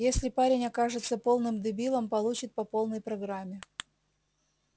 если парень окажется полным дебилом получит по полной программе